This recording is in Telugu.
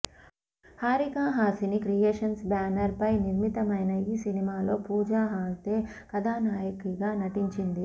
హారికా హాసిని క్రియేషన్స్ బ్యానర్ పై నిర్మితమైన ఈ సినిమాలో పూజా హెగ్డే కథానాయకిగా నటించింది